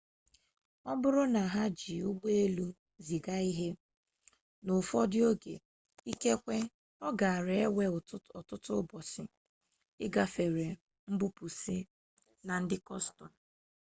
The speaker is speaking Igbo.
ọ bụrụ na ha jị ụgbọelu ziga ihe n'ụfọdụ ụzọ ikekwe ọ gaara ewe ọtụtụ ụbọchị igafere mbupusi na ndị kọstom